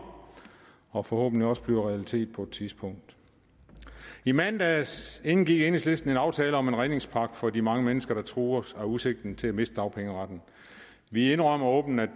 og forhåbentlig også bliver en realitet på et tidspunkt i mandags indgik enhedslisten en aftale om en redningspakke for de mange mennesker der trues af udsigten til at miste dagpengeretten vi indrømmer åbent at